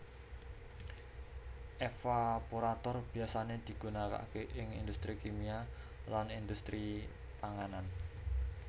Evaporator biyasane digunakake ing industri kimia lan industri panganan